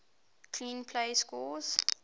clean plays score